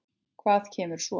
Hvað kemur svo?